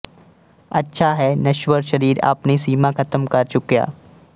ਅੱਛਾ ਹੈ ਨਸ਼ਵਰ ਸਰੀਰ ਆਪਣੀ ਸੀਮਾ ਖ਼ਤਮ ਕਰ ਚੁੱਕਿਆ